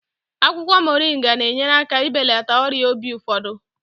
Akwụkwọ Moringa na-enyere aka ibelata ọrịa obi ụfọdụ.